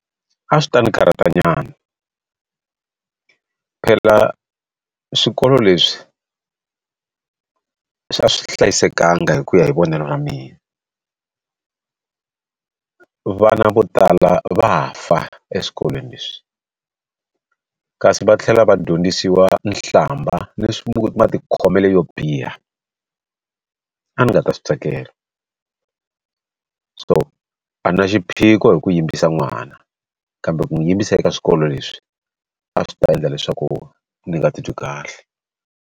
A swi ta ni karhata nyana phela swikolo leswi swi a swi hlayisekanga hi ku ya hi vonelo ra mina vana vo tala va fa eswikolweni leswi kasi va tlhela va dyondzisiwa nhlamba ni swi matikhomele yo biha a ni nga ta swi tsakela so a na xiphiqo hi ku yimbisa n'wana kambe ku n'wi yimbisa eka swikolo leswi a swi ta endla leswaku ni nga titwi kahle.